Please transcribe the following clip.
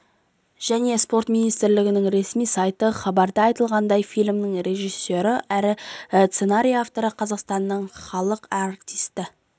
және спорт министрлігінің ресми сайты хабарда айтылғандай фильмнің режиссері әрі сценарий авторы қазақстанның халық артисі